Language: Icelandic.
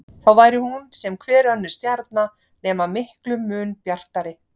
Þá væri hún sem hver önnur stjarna nema miklum mun bjartari.